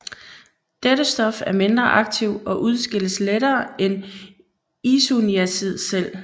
Dette stof er mindre aktivt og udskilles lettere end isoniazid selv